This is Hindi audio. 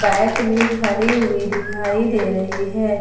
बाइक भी खड़ी हुई दिखाई दे रही है।